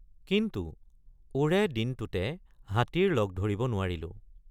কিন্তু ওৰে দিনটোতে হাতীৰ লগ ধৰিব নোৱাৰিলোঁ।